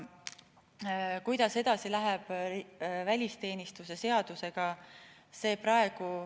Kuidas läheb edasi välisteenistuse seadusega?